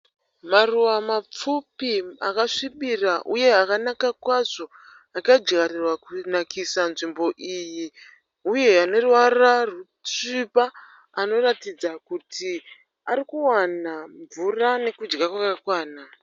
Maruva mapfupi akasvibira uye akanaka kwazvo akadyarirwa kunakisa nzvimbo iyi uye aneruvara rusviba anoratidza kuti ari kuwana mvura nekudya kwakakwana.